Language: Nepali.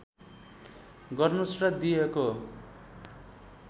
गर्नुस् र दिइएको